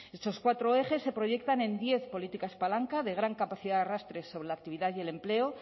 esos cuatro ejes se proyectan en diez políticas palanca de gran capacidad de arrastre sobre la actividad y el empleo